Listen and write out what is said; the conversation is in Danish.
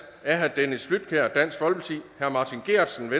af dennis flydtkjær martin geertsen